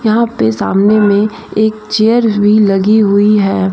यहां पे सामने में एक चेयर भी लगी हुई है।